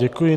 Děkuji.